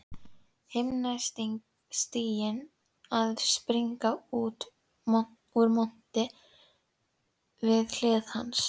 Himnastiginn að springa úr monti við hlið hans.